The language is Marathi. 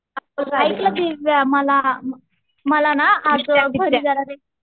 मला मला ना आज घरी जरा